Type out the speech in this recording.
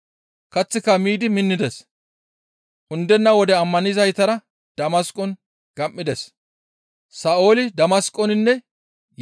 Kaththika miidi minnides; undenna wode ammanizaytara Damasqon gam7ides.